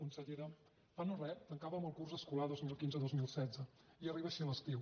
consellera fa no res tancàvem el curs escolar dos mil quinzedos mil setze i arriba així l’estiu